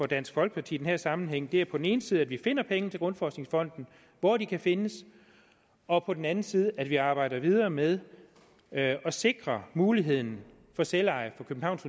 dansk folkeparti i den her sammenhæng er på den ene side at vi finder penge grundforskningsfond hvor de kan findes og på den anden side at vi arbejder videre med at sikre muligheden for selveje for københavns